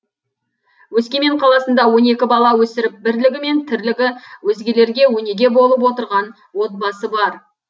өскемен қаласында он екі бала өсіріп бірлігі мен тірлігі өзгелерге өнеге болып отырған отбасы бар